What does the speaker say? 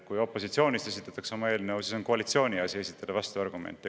Kui opositsioon esitab oma eelnõu, siis on koalitsiooni asi esitada vastuargumente.